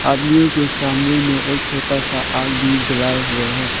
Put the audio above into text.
आदमियों के सामने में एक छोटा सा आग भी जलाए हुए है।